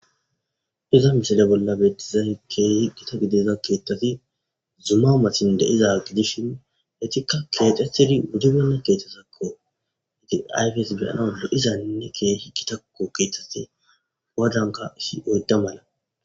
Iza misile bolla beettizay keehi giitta gidiza keettati zuma mattan de'iza gidishin etikka keexxetidi wuribenna keettazakko izi ayfes beyanas lo'izanne keehi giittakko keeththazi gaddanka issi oydda mala